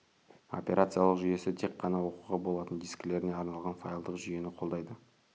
операциялық жүйесі тек қана оқуға болатын дискілеріне арналған файлдық жүйені қолдайды